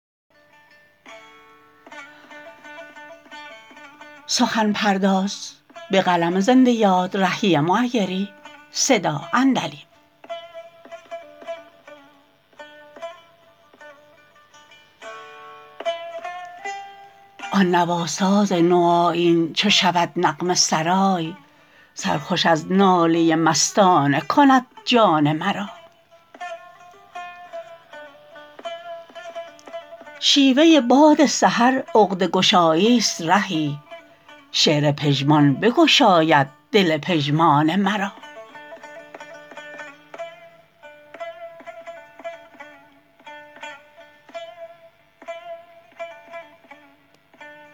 آن نواساز نوآیین چو شود نغمه سرای سرخوش از ناله مستانه کند جان مرا شیوه باد سحر عقده گشایی است رهی شعر پژمان بگشاید دل پژمان مرا